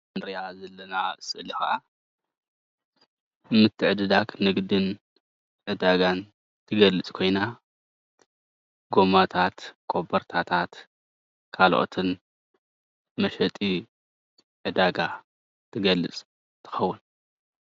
እዛ እንሪኣ ዘለና ስእሊ ክዓ ንምትዕድዳግ ንግድን ዕዳጋን ትገልፅ ኮይና ጎማታት፣ ኮቦርታታት ካልኦትን መሸጢ ዕዳጋ ትገልፅ ትከውን፡፡